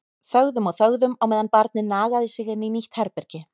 Þögðum og þögðum á meðan barnið nagaði sig inn í nýtt herbergi.